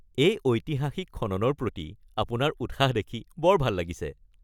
এই ঐতিহাসিক খননৰ প্ৰতি আপোনাৰ উৎসাহ দেখি বৰ ভাল লাগিছে!